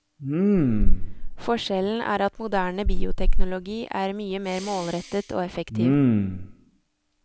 Forskjellen er at moderne bioteknologi er mye mer målrettet og effektiv.